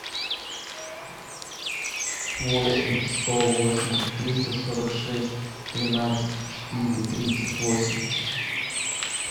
восемь сто восемь триста сорок шесть тринадцать четыре тридцать восемь